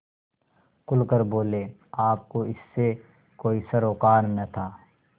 खुल कर बोलेआपको इससे कोई सरोकार न था